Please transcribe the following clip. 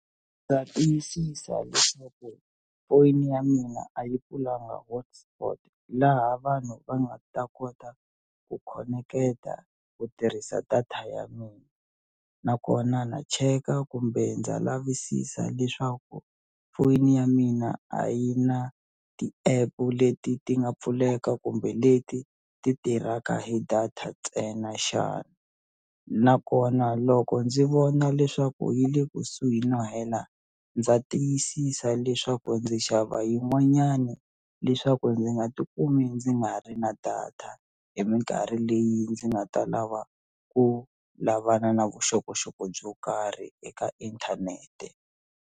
Ndza tiyisisa leswaku phone ya mina a yi pfulanga hotspot laha vanhu va nga ta kota ku khoneketa ku tirhisa data ya mina nakona na cheka kumbe ndza lavisisa leswaku foyini ya mina a yi na ti-app-u leti ti nga pfuleka kumbe leti ti tirhaka hi data ntsena xana nakona loko ndzi vona leswaku yi le kusuhi no hela ndza tiyisisa leswaku ndzi xava yin'wanyani leswaku ndzi nga tikumi ndzi nga ri na data hi minkarhi leyi ndzi nga ta lava ku lavana na vuxokoxoko byo karhi eka inthanete.